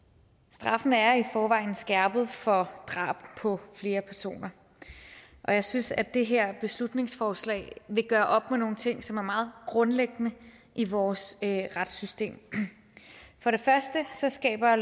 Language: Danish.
straffen er i forvejen skærpet for drab på flere personer og jeg synes at det her beslutningsforslag vil gøre op med nogle ting som er meget grundlæggende i vores retssystem for det første skaber